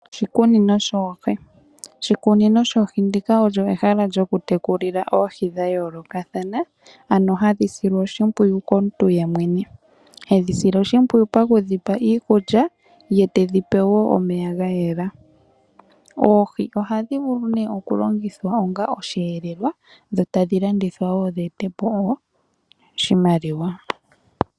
Oshikunino shoohi Oshikunino shoohi ndika olyo ehala lyokutekulila oohi dha yoolokathana, ano hadhi silwa oshimpwiyu komuntu yemwene. Hedhi sile oshimpwiyu pa ku dhi pa iikulya, ye tedhi pe wo omeya ga yela. Oohi ohadhi vulu ihe okulongithwa onga osheelelwa dho tadhi landithwa wo dhi ete po oshimaliwa.